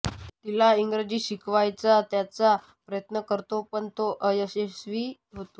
तिला इंग्रजी शिकवायचा त्याचा प्रयत्न करतो पण तो अयशस्वी होतो